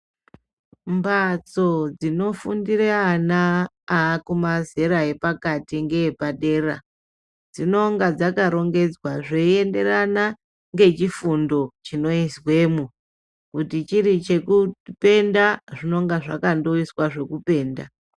Mbatso dzekufundira ana nemazera nepakati ngeepadera zvinonga zvakarongedzwa zveenderana ngechifundo chinoizwe mwo kuti chiri chekufunda zvekupenta zvinonga zvaka ndoiswa zvokupentwa.